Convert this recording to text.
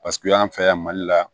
Paseke y'an fɛ yan mali la